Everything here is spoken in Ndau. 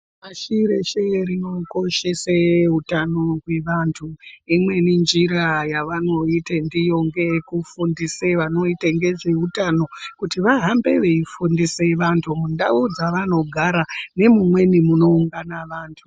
Pashi reshe rinokoshese utano hwavantu imweni njira yavanoite ndiyo ngeye kufundisa vanoita ngezveutano kuti vahambe veyifundise vantu muntau dzavanogara nemumweni munoungana vantu.